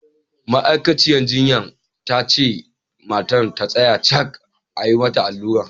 Ma'aikaciya jinyan ta ce mata ta tsaya cak a yi mata allurar!